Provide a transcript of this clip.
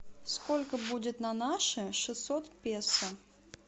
сколько будет на наши шестьсот песо